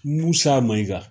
Musa Mayiga